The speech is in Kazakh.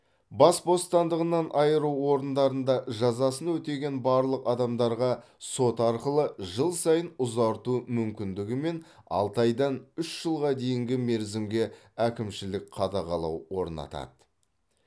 бас бостандығынан айыру орындарында жазасын өтеген барлық адамдарға сот арқылы жыл сайын ұзарту мүмкіндігімен алты айдан үш жылға дейінгі мерзімге әкімшілік қадағалау орнатады